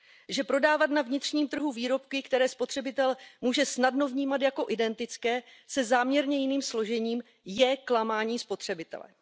Že prodávat na vnitřním trhu výrobky, které spotřebitel může snadno vnímat jako identické se záměrně jiným složením, je klamání spotřebitele.